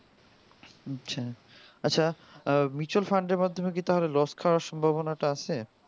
আচ্ছা আচ্ছা mutual fund এর মাধ্যমে কি loss খাবার সম্ভবনাটা আছে